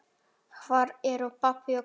Hvar eru pabbi og mamma?